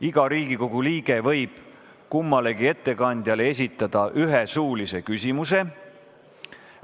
Iga Riigikogu liige võib kummalegi ettekandjale esitada ühe suulise küsimuse.